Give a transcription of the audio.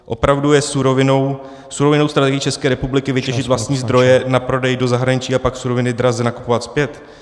Opravdu je surovinovou strategií České republiky vytěžit vlastní zdroje na prodej do zahraničí, a pak suroviny draze nakupovat zpět?